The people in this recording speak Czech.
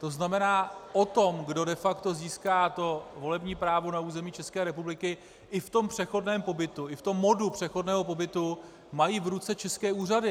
To znamená o tom, kdo de facto získá to volební právo na území České republiky i v tom přechodném pobytu, i v tom modu přechodného pobytu, mají v ruce české úřady.